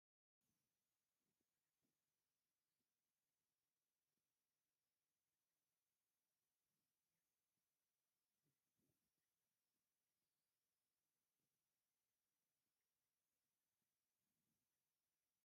ዝተፈላለዩ ሰባት አብ ፀልማት ሃሳስ መብራህቲ ዘለዎ ቦታ መጋየፂ ገይረን ይርከባ፡፡ ኢሬ ቲቪ ዝብል ብአራንሺ ሕብሪ ተፃሒፉ አብ ፀሊም ድሕረ ባይታ ይርከብ፡፡ ናይ ኤርትራ ደርፊ ትፈትው ዶ?